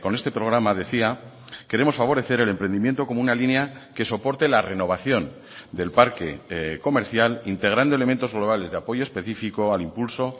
este programa decía queremos favorecer el emprendimiento como una línea que soporte la renovación del parque comercial integrando elementos globales de apoyo específico al impulso